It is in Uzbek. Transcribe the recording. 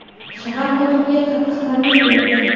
shahar hokimiga qattiq tanbeh berdi.